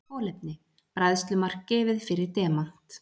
Kolefni: Bræðslumark gefið fyrir demant.